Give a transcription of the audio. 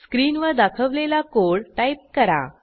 स्क्रीनवर दाखवलेला code type करा